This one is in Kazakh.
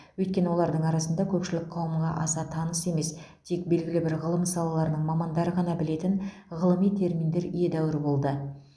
өйткені олардың арасында көпшілік қауымға аса таныс емес тек белгілі бір ғылым салаларының мамандары ғана білетін ғылыми терминдер едәуір болды